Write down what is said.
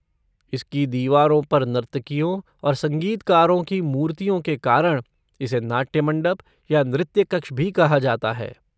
इसकी दीवारों पर नर्तकियों और संगीतकारों की मूर्तियों के कारण इसे नाट्य मंडप या नृत्य कक्ष भी कहा जाता है।